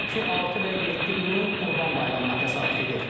Belə ki, 6 və 7 iyun Qurban Bayramına təsadüf edir.